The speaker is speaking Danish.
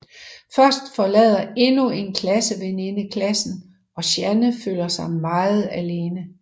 Først forlader endnu en klasseveninde klassen og Shanne føler sig meget alene